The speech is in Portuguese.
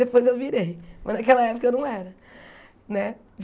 Depois eu virei, mas naquela época eu não era né.